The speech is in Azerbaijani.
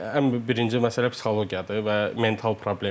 ən birinci məsələ psixologiyadır və mental problemdir.